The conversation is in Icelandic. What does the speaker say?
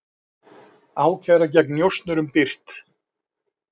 Ákæra gegn njósnurum birt